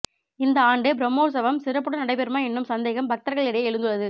இந்த ஆண்டு பிரம்மோற்சவம் சிறப்புடன் நடைபெறுமா என்னும் சந்தேகம் பக்தர்களிடையே எழுந்துள்ளது